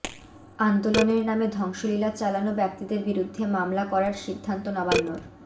আন্দোলনের নামে ধ্বংসলীলা চালানো ব্যক্তিদের বিরুদ্ধে মামলা করার সিদ্ধান্ত নবান্নর